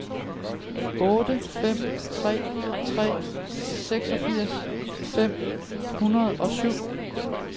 otte fem tre tre seksogfirs fem hundrede og syv